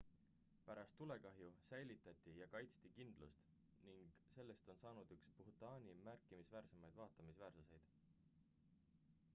pärast tulekahju säilitati ja kaitsti kindlust ning sellest on saanud üks bhutani märkimisväärsemaid vaatamisväärsuseid